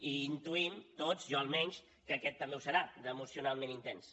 i intuïm tots jo almenys que aquest també ho serà d’emocionalment intens